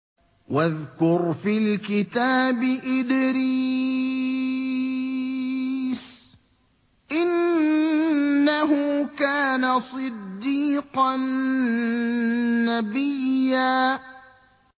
وَاذْكُرْ فِي الْكِتَابِ إِدْرِيسَ ۚ إِنَّهُ كَانَ صِدِّيقًا نَّبِيًّا